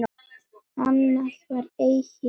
Annað var eigi hægt.